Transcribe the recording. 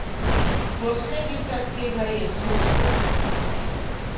Posledica tega je suh zrak.